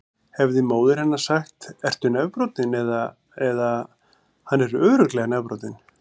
Hefði móðir hennar sagt: Ertu nefbrotinn? eða: Hann er örugglega nefbrotinn.